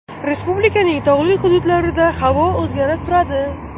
Respublikaning tog‘li hududlarida havo o‘zgarib turadi.